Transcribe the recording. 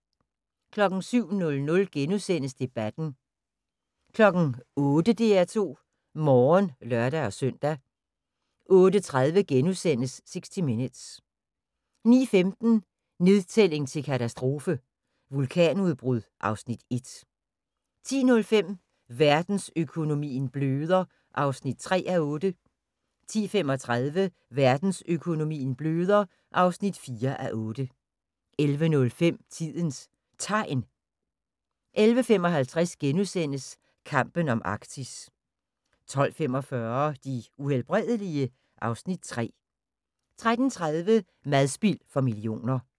07:00: Debatten * 08:00: DR2 Morgen (lør-søn) 08:30: 60 Minutes * 09:15: Nedtælling til katastrofe - vulkanudbrud (Afs. 1) 10:05: Verdensøkonomien bløder (3:8) 10:35: Verdensøkonomien bløder (4:8) 11:05: Tidens Tegn 11:55: Kampen om Arktis * 12:45: De Uhelbredelige? (Afs. 3) 13:30: Madspild for millioner